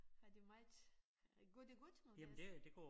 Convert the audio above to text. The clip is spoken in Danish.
Har de meget øh går det godt med deres